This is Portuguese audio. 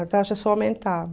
A taxa só aumentava.